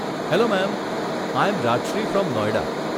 Hello ma'am I am Rajshree from Noida.